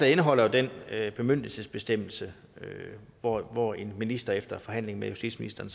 indeholder jo den bemyndigelsesbestemmelse hvor hvor en minister efter en forhandling med justitsministeren